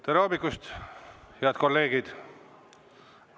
Tere hommikust, head kolleegid!